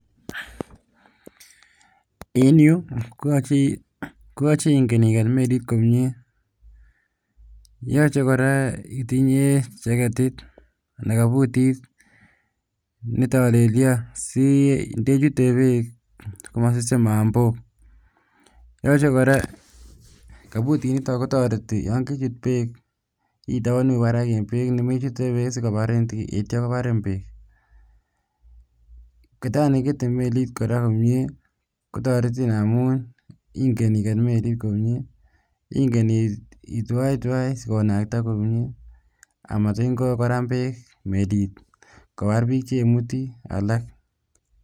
En yuu koyoche ing'en iket melit komnye yoche kora itinye cheketit anan kobutit netolelion sindechute beek komasusin mambok, yoche kora kobutiniton kotoreti yoon kechut beek itobonu barak en beek, nemechute beek sikobarin ityo kobarin beek, ketani kikete melit kora komnyee kotoretin amun ing'en iket melit komnye, ing'en itwaitwai sikonakta komnye amasitin koram beek melit kobar biik chemuti alak.